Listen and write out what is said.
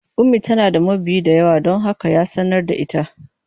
Ummi tana da mabiya da yawa don haka ya sanar da ita.